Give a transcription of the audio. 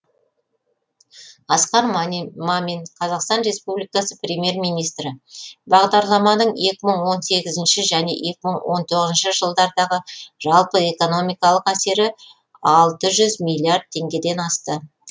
асқар мамин қазақстан республикасы премьер министрі бағдарламаның екі мың он сегізінші және екі мың он тоғызыншы жылдардағы жалпы экономикалық әсері алты жүз миллиард теңгеден асты